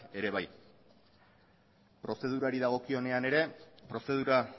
ere bai prozedurari dagokionean ere prozedura